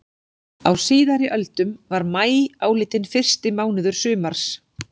Á síðari öldum var maí álitinn fyrsti mánuður sumars.